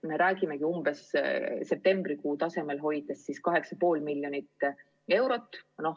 Me räägimegi, et umbes septembrikuu tasemel nakatumist hoides on see 8,5 miljonit eurot.